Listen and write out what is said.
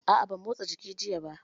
A'a ban motsa jiki jiya ba